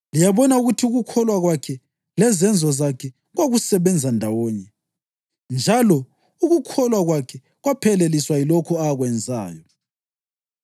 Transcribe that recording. Liyabona ukuthi ukukholwa kwakhe lezenzo zakhe kwakusebenza ndawonye, njalo ukukholwa kwakhe kwapheleliswa yilokho akwenzayo.